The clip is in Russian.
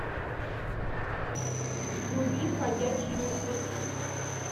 вруби ходячие мертвецы